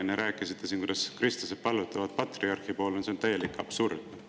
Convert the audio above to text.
Enne rääkisite siin, kuidas kristlased palvetavad patriarhi poole – no see on täielik absurd!